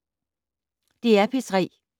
DR P3